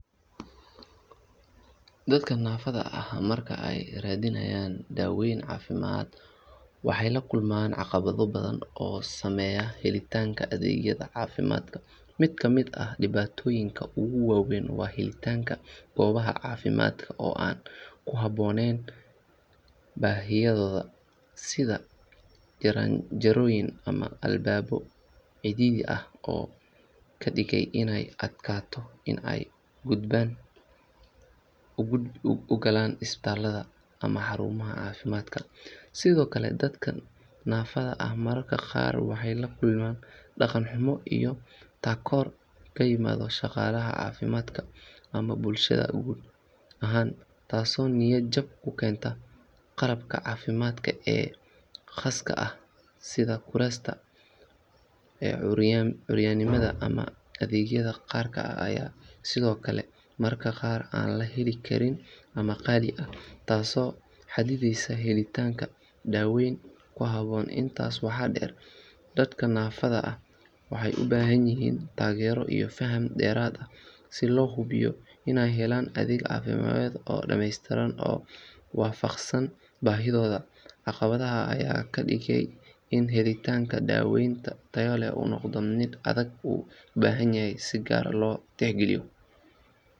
Dadka naafada ah marka ay raadinayaan daaweyn caafimaad waxay la kulmaan caqabado badan oo saameeya helitaanka adeegyada caafimaadka. Mid ka mid ah dhibaatooyinka ugu waaweyn waa helitaanka goobaha caafimaadka oo aan ku habboonayn baahiyahooda, sida jaranjarooyin ama albaabo cidhiidhi ah oo ka dhigaya inay adkaato in ay gudaha u galaan isbitaallada ama xarumaha caafimaadka. Sidoo kale, dadka naafada ah mararka qaar waxay la kulmaan dhaqan xumo iyo takoor ka yimaada shaqaalaha caafimaadka ama bulshada guud ahaan, taasoo niyad jab ku keenta. Qalabka caafimaadka ee khaaska ah sida kuraasta curyaannimada ama adeegyada gaarka ah ayaa sidoo kale mararka qaar aan la heli karin ama qaali ah, taasoo xadidaysa helitaanka daaweyn ku habboon. Intaas waxaa dheer, dadka naafada ah waxay u baahan yihiin taageero iyo faham dheeraad ah si loo hubiyo inay helaan adeeg caafimaad oo dhamaystiran oo waafaqsan baahidooda. Caqabadahan ayaa ka dhigaya in helitaanka daaweyn tayo leh uu noqdo mid adag oo u baahan in si gaar ah loo tixgeliyo.